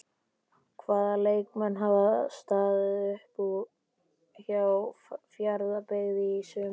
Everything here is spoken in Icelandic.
Hvaða leikmenn hafa staðið upp úr hjá Fjarðabyggð í sumar?